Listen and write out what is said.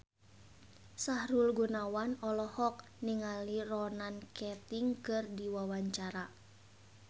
Sahrul Gunawan olohok ningali Ronan Keating keur diwawancara